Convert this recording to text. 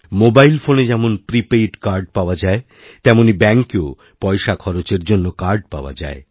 mobile ফোনে যেমন prepaid card পাওয়া যায় তেমনই ব্যাঙ্কেওপয়সা খরচের জন্য কার্ড পাওয়া যায়